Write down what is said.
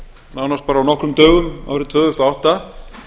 nánast bara á nokkrum dögum árið tvö þúsund og átta